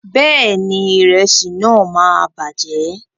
Bẹ́ẹ̀ni, ìrẹsí náà máa bàjẹ́.